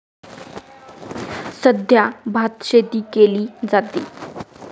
सध्या भातशेती केली जाते.